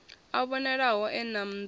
a vhonalaho e na nḓala